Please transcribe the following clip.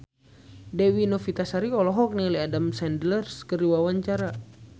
Dewi Novitasari olohok ningali Adam Sandler keur diwawancara